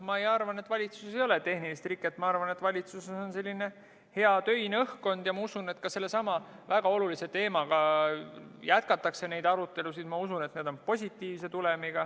Ma arvan, et valitsuses ei ole tehnilist riket, et valitsuses on hea töine õhkkond, ja ma usun, et ka sellesama väga olulise teemaga jätkatakse arutelusid ning et neil on positiivne tulem.